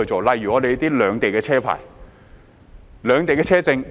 例如利用兩地的車牌和車證。